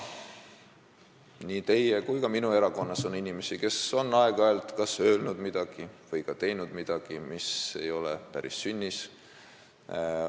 Nii teie kui ka minu erakonnas on inimesi, kes on aeg-ajalt kas öelnud või teinud midagi, mis ei ole päris sünnis.